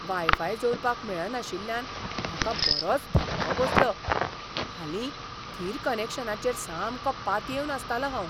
Y five जोडपाक मेळनाशिल्ल्यान म्हाका बरोच धक्को बसलो. हालीं, थीर कनॅक्शनाचेर सामको पातयेवन आसतालों हांव.